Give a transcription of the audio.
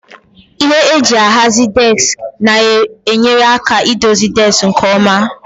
Ihe eji ahazi deski na-enyere aka idozi deski nke ọma.